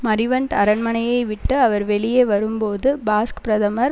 Marivent அரண்மனையைவிட்டு அவர் வெளியே வரும்போது பாஸ்க் பிரதமர்